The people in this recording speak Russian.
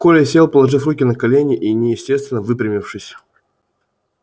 коля сел положив руки на колени и неестественно выпрямившись